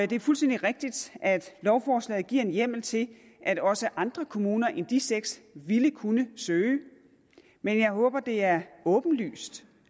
det er fuldstændig rigtigt at lovforslaget giver en hjemmel til at også andre kommuner end de seks ville kunne søge men jeg håber det er åbenlyst